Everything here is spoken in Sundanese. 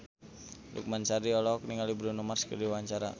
Lukman Sardi olohok ningali Bruno Mars keur diwawancara